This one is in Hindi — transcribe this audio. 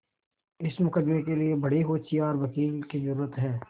इस मुकदमें के लिए बड़े होशियार वकील की जरुरत है